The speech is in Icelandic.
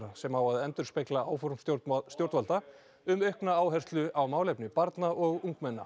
sem á að endurspegla áform stjórnvalda um aukna áherslu á málefni barna og ungmenna